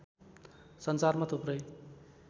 संसारमा थुप्रै